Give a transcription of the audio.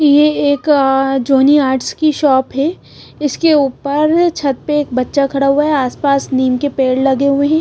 ये एक Johnny arts की शॉप है इसके ऊपर छत पे एक बच्चा खड़ा हुआ है आसपास नीम के पेड़ लगे हुए हैं।